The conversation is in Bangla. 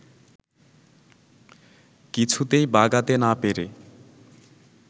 কিছুতেই বাগাতে না পেরে